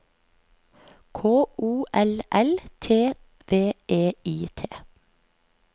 K O L L T V E I T